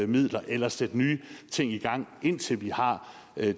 midler eller sætte nye ting i gang indtil vi har